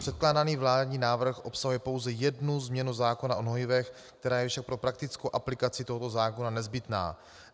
Předkládaný vládní návrh obsahuje pouze jednu změnu zákona o hnojivech, která je však pro praktickou aplikaci tohoto zákona nezbytná.